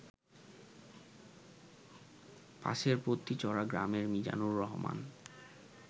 পাশেরপত্নীচড়া গ্রামের মিজানুর রহমান